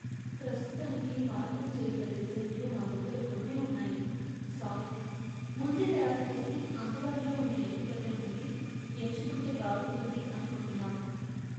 ప్రస్తుతానికి మార్పులు చేయగల డిజైన్లు మా దగ్గర కొన్నే ఉన్నాయి, సారీ. ముందే తయారు చేసి, అందుబాటులో ఉన్న ఎంపికలలో నుండి ఎంచుకుంటే బాగుంటుంది అనుకుంటున్నాం.